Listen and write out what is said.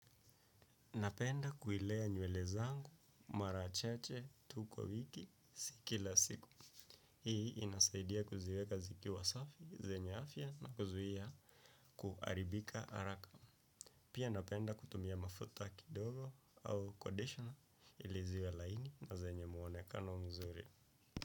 Napenda kuilea nywele zangu, mara chache, tu kwa wiki, si kila siku. Hii inasaidia kuziweka zikiwa safi, zenye afya na kuzuia kuharibika haraka. Pia napenda kutumia mafuta kidogo au 'conditioner', ili ziwe laini na zenye muonekano mzuri.